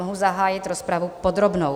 Mohu zahájit rozpravu podrobnou.